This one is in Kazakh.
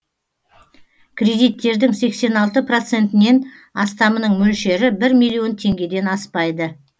кредиттердің сексен алты процентінен астамының мөлшері бір миллион теңгеден аспайды